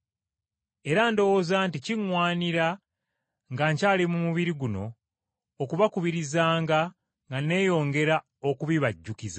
Era ndowooza nti kiŋŋwanira nga nkyali mu mubiri guno, okubakubirizanga nga nneeyongera okubibajjukiza.